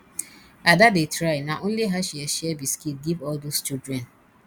ada dey try na only her share share biscuit give all those children